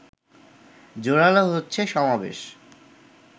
জোরালো হচ্ছে সমাবেশ